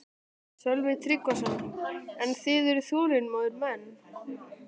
Sölvi Tryggvason: En þið eruð þolinmóðir menn?